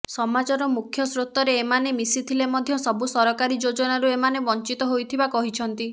ସମାଜର ମୁଖ୍ୟ ସ୍ରୋତରେ ଏମାନେ ମିଶିଥିଲେ ମଧ୍ୟ ସବୁ ସରକାରୀ ଯୋଜନାରୁ ଏମାନେ ବଂଚିତ ହୋଇଥିବା କହିଛନ୍ତି